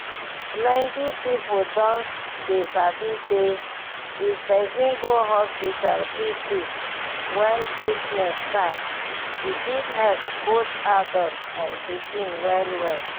plenty people don dey sabi say if person go hospital quick quick when sickness start e fit help both adults and pikin well well.